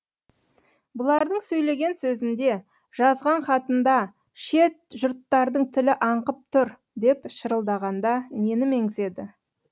бұлардың сөйлеген сөзінде жазған хатында шет жұрттардың тілі аңқып тұр деп шырылдағанда нені меңзеді